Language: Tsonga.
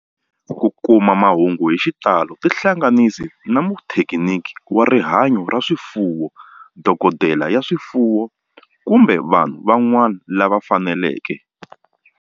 Ku kuma mahungu hi xitalo tihlanganisi na muthekiniki wa rihanyo ra swifuwo, dokodela ya swifuwo, kumbe vanhu van'wana lava fanelekeke.